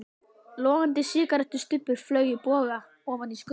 Logandi sígarettustubbur flaug í boga ofan í skurðinn.